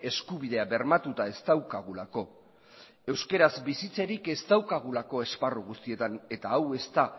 eskubidea bermatuta ez daukagulako euskaraz bizitzerik ez daukagulako esparru guztietan eta hau ez da